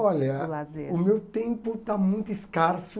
Olha, do lazer, o meu tempo está muito escasso.